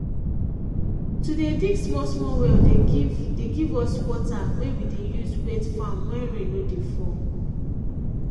to dey dig small small well dey give dey give us water wey we dey use wet farm when rain no dey fall